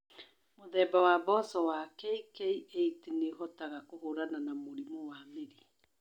Mũthemba wa mboco wa KK8 nĩ ũhotaga kũhũrana na mũrimũ wa mĩri.